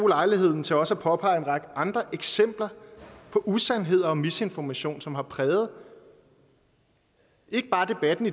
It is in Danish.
lejligheden til også at påpege en række andre eksempler på usandheder og misinformation som har præget ikke bare debatten